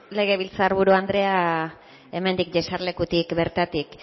legebiltzar buru anderea hemendik jesarlekutik bertatik